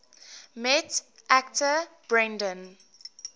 met actor brendan